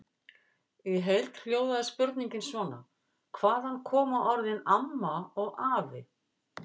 Í heild hljóðaði spurningin svona: Hvaðan koma orðin AMMA og AFI?